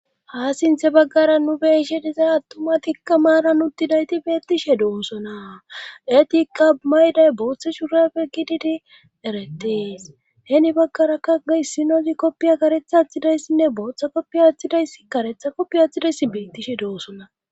ha sinthe baggara nu be'ishe dizaa attumatikka maaran uttidayti beettishe doosona etiqa mayday booththe shurappe kididi eretees heeni baggaraka issinazi kopiya karetha atthidayssinne booththa kopiya attidayssi karetha kopiya athidayssi biittishe de'ossona